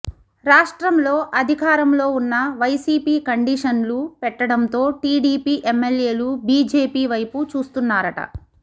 రాష్ట్రంలో అధికారంలో ఉన్న వైసీపీ కండీషన్లు పెట్టడంతో టీడీపీ ఎమ్మెల్యేలు బీజేపీ వైపు చూస్తున్నారట